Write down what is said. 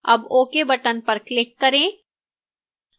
अब ok button पर click करें